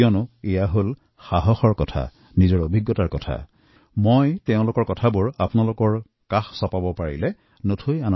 কাৰণ ই এফালৰ পৰা সাহসী কাহিনী নিজৰ ভাৱনাৰ কথা এয়া আৰু মোৰ আনন্দ এইবাবেই যে এই মহিলাসকলৰ কথা আপোনালোকৰ ওচৰত জনাব পাৰিছোঁ